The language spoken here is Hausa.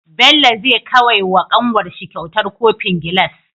Bello zai kawai wa kanwarshi kyautar kofin gilas